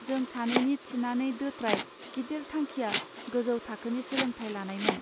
जों सानैनि थिनानै दोत्राय गिदिर थांखिया गोजौ थाखोनि सोलोंथाय लानायमोन